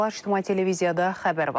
İctimai televiziyada xəbər vaxtıdır.